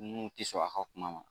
Mun tɛ sɔn a ka kuma ma